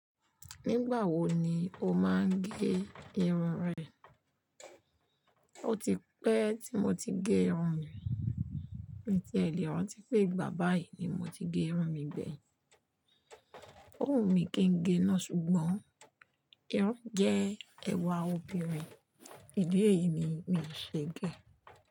Nígbà wo ni o máa ń gé irun rẹ? O ti pẹ́ tí mo ti gé irun mi. N ti e le rántí pé ìgbà báyìí ni mo ti gé irun mi gbẹ̀yìn. Ó wù mí kí n gé náà ṣùgbọ́n irun jẹ́ ẹwà obìnrin, ìdí èyí ni mi ṣe gẹ́